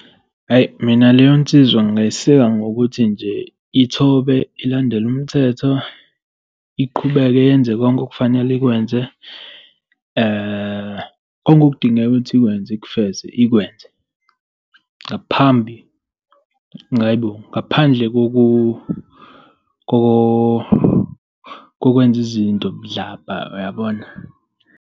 Hhayi mina leyo nsizwa ngingay'seka ngokuthi nje ithobe ilandele umthetho. Iqhubeke yenze konke okufanele ikwenze okudingeka ukuthi ikwenze ikufeze ikwenze, ngaphambi aibo ngaphandle kokwenza izinto budlabha uyabona.